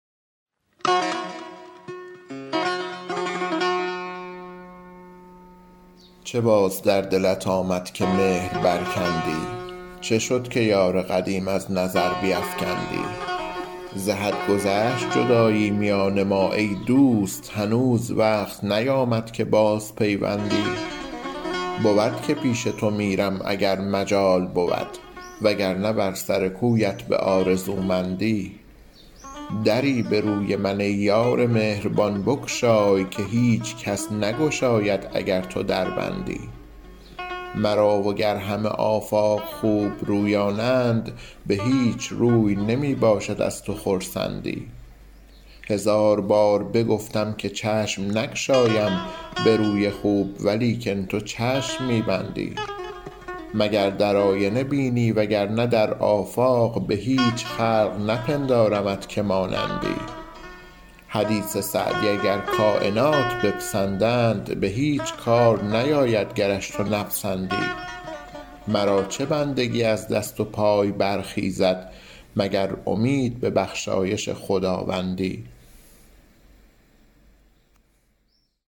چه باز در دلت آمد که مهر برکندی چه شد که یار قدیم از نظر بیفکندی ز حد گذشت جدایی میان ما ای دوست هنوز وقت نیامد که بازپیوندی بود که پیش تو میرم اگر مجال بود وگرنه بر سر کویت به آرزومندی دری به روی من ای یار مهربان بگشای که هیچ کس نگشاید اگر تو در بندی مرا وگر همه آفاق خوبرویانند به هیچ روی نمی باشد از تو خرسندی هزار بار بگفتم که چشم نگشایم به روی خوب ولیکن تو چشم می بندی مگر در آینه بینی وگرنه در آفاق به هیچ خلق نپندارمت که مانندی حدیث سعدی اگر کاینات بپسندند به هیچ کار نیاید گرش تو نپسندی مرا چه بندگی از دست و پای برخیزد مگر امید به بخشایش خداوندی